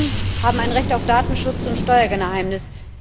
Auch Unternehmen haben ein Recht auf Datenschutz und Steuergeheimnis.